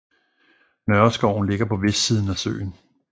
Nørreskoven ligger på vestsiden af søen